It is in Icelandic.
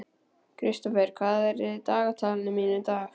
Kristófer, hvað er í dagatalinu mínu í dag?